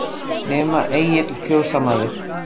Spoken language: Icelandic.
Nema Egill fjósamaður.